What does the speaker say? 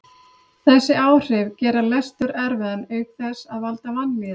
Þessi áhrif gera lestur erfiðan auk þess að valda vanlíðan.